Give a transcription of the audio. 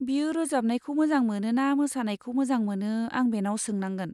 बियो रोजाबनायखौ मोजां मोनो ना मोसानायखौ मोजां मोनो आं बेनाव सोंनांगोन।